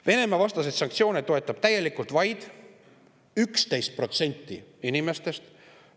Venemaa-vastaseid sanktsioone toetab täielikult vaid 11% inimestest.